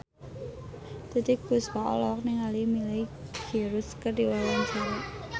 Titiek Puspa olohok ningali Miley Cyrus keur diwawancara